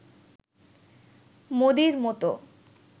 মোদির মতো